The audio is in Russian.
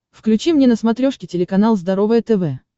включи мне на смотрешке телеканал здоровое тв